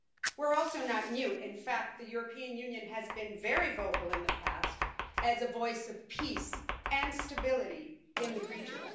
We're also not mute in fact, the European Union has been very vocal in the past as a voice of peace and stability in the region.